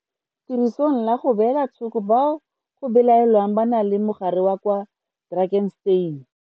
Tirisong la go beela thoko bao go belaelwang ba na le mogare la kwa Drakenstein.